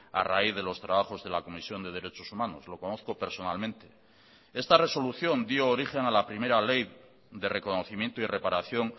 a raíz de los trabajos de la comisión de derechos humanos lo conozco personalmente esta resolución dio origen a la primera ley de reconocimiento y reparación